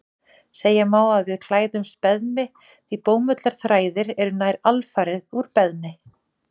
Segja má að við klæðumst beðmi því bómullarþræðir eru nær alfarið úr beðmi.